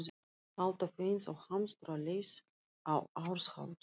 Alltaf eins og hamstur á leið á árshátíð.